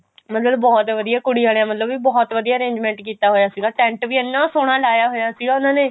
ਮਤਲਬ ਬਹੁਤ ਵਧੀਆ ਕੁੜੀ ਆਲਿਆਂ ਵੱਲੋ ਵੀ ਬਹੁਤ ਵਧੀਆ arrangement ਕੀਤਾ ਹੋਇਆ ਸੀਗਾ tent ਵੀ ਇੰਨਾ ਸੋਹਨਾ ਲਾਇਆ ਹੋਇਆ ਸੀ ਉਹਨਾ ਨੇ